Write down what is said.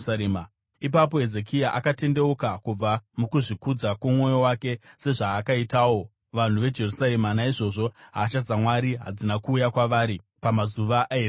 Ipapo Hezekia akatendeuka kubva mukuzvikudza kwomwoyo wake, sezvakaitawo vanhu veJerusarema, naizvozvo hasha dzaMwari hadzina kuuya kwavari pamazuva aHezekia.